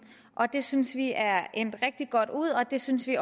det synes vi er endt rigtig godt ud og det synes vi